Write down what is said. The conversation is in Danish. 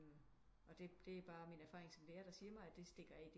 Og det er bare min erfaring som lærer der mig det stikker af